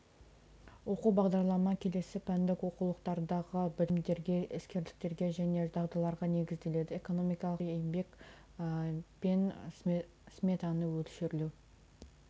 оқу бағдарлама келесі пәндік оқулықтардағы білімдерге іскерлікке және дағдыларға негізделеді экономикалық теория еңбек мен сметаны мөлшерлеу